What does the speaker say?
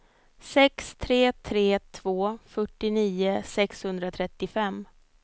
sex tre tre två fyrtionio sexhundratrettiofem